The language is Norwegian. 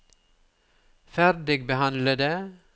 ferdigbehandlede